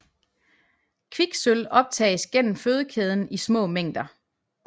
Kviksølv optages gennem fødekæden i små mængder